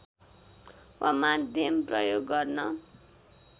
वा माध्यम प्रयोग गर्न